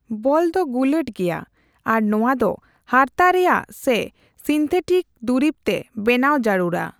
ᱵᱚᱞ ᱫᱚ ᱜᱩᱞᱟᱹᱴ ᱜᱮᱭᱟ ᱟᱨ ᱱᱚᱣᱟ ᱫᱚ ᱦᱟᱨᱛᱟ ᱨᱮᱭᱟᱜ ᱥᱮ ᱥᱤᱱᱛᱷᱮᱴᱤᱠ ᱫᱩᱨᱤᱵ ᱛᱮ ᱵᱮᱱᱟᱣ ᱡᱟᱨᱩᱲᱼᱟ ᱾